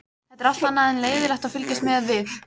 Það er allt annað en leiðinlegt að fylgjast með við